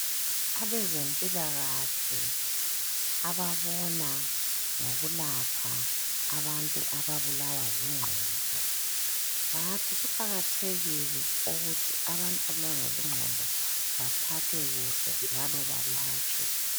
Abezempilakahle ababona ngokulapha abantu ababulawa zingqondo bathi kuqakathekile ukuthi abantu ababulawa zingqondo baphathwe kuhle njalo balatshwe.